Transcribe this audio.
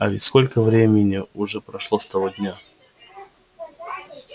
а ведь сколько времени уже прошло с того дня